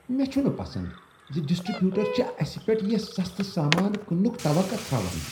مےٚ چھنہٕ پسند ز ڈسٹری بیوٹر چھ اسہ پیٹھ یہ سستہٕ سامان کٕننٕک توقع تھاوان۔